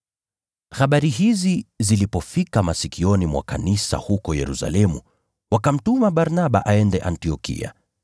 Habari hizi zilipofika masikioni mwa kanisa huko Yerusalemu, wakamtuma Barnaba aende Antiokia.